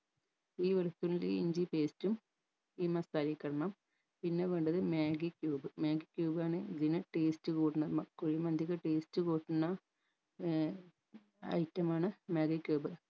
ഈ വെളുത്തുള്ളി ഇഞ്ചി paste ഉം ഈ masala യ്ക്കിടണം പിന്നെ വേണ്ടത് മാഗി cube മാഗി cube ആണ് ഇതിനെ taste കൂടണ മ കുഴിമന്തിക്ക് taste കൂട്ടണ ഏർ item ആണ് മാഗി cube